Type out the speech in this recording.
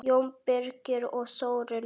Jón Birgir og Þórunn.